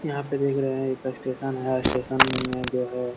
यहाँ पर देख रहे है स्टेशन है स्टेशन में जो है।